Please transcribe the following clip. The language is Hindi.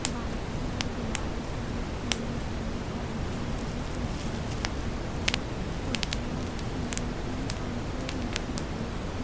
व्हाइट कलर गुलाबी कलर पीले कलर हरे कलर बहुत ही सुंदर लग रहा है। कुर्सिया रखी हुई है। पंखे लगे हुए है।